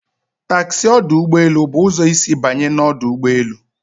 Taxi ọdụ ụgbọ elu bụ ụzọ isi banye na ọdụ ụgbọ elu